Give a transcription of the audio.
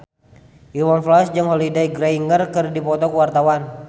Iwan Fals jeung Holliday Grainger keur dipoto ku wartawan